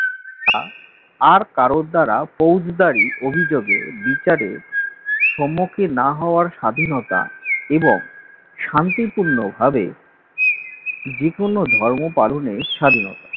তা আর কারোর দ্বারা ফৌজদারি অভিযোগে বিচারে সম্মুখে না হওয়ার স্বাধীনতা এবং শান্তিপূর্ণভাবে যে কোন ধর্ম পালনে স্বাধীনতা